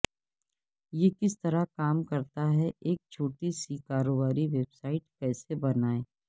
یہ کس طرح کام کرتا ہے ایک چھوٹی سی کاروباری ویب سائٹ کیسے بنائیں